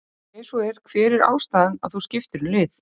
ef svo er hver var ástæðan að þú skiptir um lið?